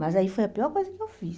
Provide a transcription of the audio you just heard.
Mas aí foi a pior coisa que eu fiz.